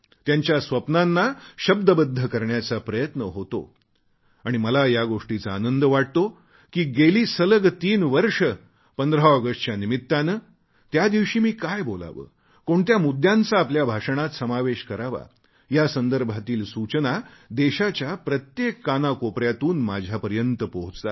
त्यांच्या स्वप्नांना शब्दबद्ध करण्याचा प्रयत्न होतो आणि मला या गोष्टीचा आनंद वाटतो की गेली सलग तीन वर्षे 15 ऑगस्टच्या निमित्ताने त्या दिवशी मी काय बोलावे कोणत्या मुद्यांचा आपल्या भाषणात समावेश करावा यासंदर्भातील सूचना देशाच्या प्रत्येक कानाकोपऱ्यातून माझ्यापर्यंत पोहोचतात